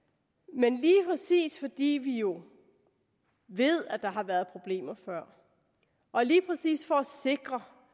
men lige præcis fordi vi jo ved at der før har været problemer og lige præcis for at sikre